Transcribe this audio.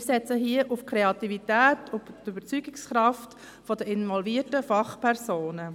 Wir setzen hier auf die Kreativität und die Überzeugungskraft der involvierten Fachpersonen.